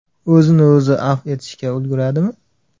O‘zini o‘zi afv etishga ulguradimi?